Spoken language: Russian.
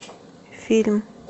фильм